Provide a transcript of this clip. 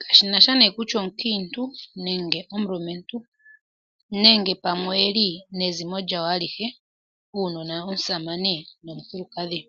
kashinasha nee kutya omukiintu nenge omulumentu, nenge pamwe oyeli nezimo lyawo alihe, uunona, omusamane nomukukadhi.